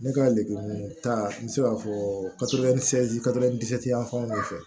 Ne ka lemuru ta n bɛ se k'a fɔ yan fanw de fɛ